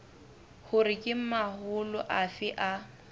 hore ke mahola afe a